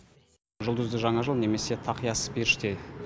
жұлдызды жаңа жыл немесе тақиясыз періште